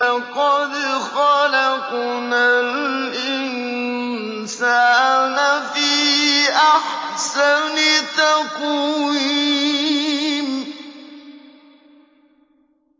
لَقَدْ خَلَقْنَا الْإِنسَانَ فِي أَحْسَنِ تَقْوِيمٍ